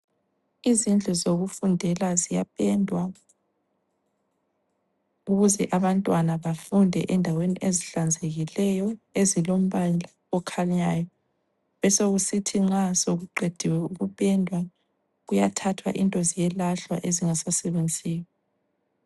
Izindlu zokufundelwa ziyapendwa ukuze abantwana bafunde endaweni ezihlanzekileyo ezilombala okhanyayo, besokusithi nxa sokuqediwe ukupendwa kuyathathwa into ziyelahlwa ezingasabenziyo.